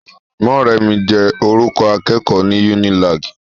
Mọ́remí jẹ́ orúkọ ibùgbé awọn akẹ́kọ̀ọ́ ní Unilag.